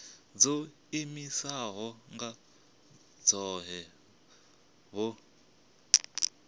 dzo iimisaho nga dzohe vhu